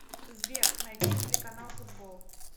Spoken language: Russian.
сбер найти телеканал футбол